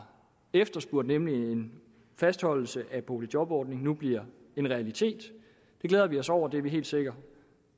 efterspurgt nemlig en fastholdelse af boligjobordningen nu bliver en realitet det glæder vi os over det er vi helt sikre